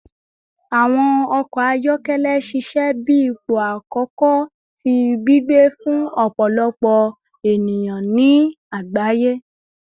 Awọn ọkọ ayọkẹlẹ ṣiṣẹ bi ipo akọkọ ti gbigbe fun ọpọlọpọ eniyan ni agbaye